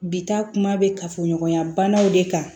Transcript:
Bi taa kuma bɛ kafoɲɔgɔnya banaw de kan